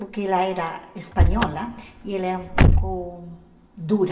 Porque ela era espanhola e ela era um pouco dura.